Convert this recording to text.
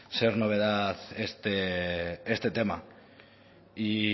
ser novedad este tema y